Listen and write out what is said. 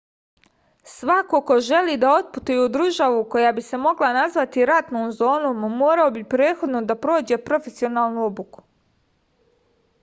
svako ko želi da otputuje u državu koja bi se mogla nazvati ratnom zonom morao bi prethodno da prođe profesionalnu obuku